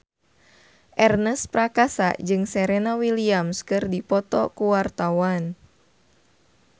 Ernest Prakasa jeung Serena Williams keur dipoto ku wartawan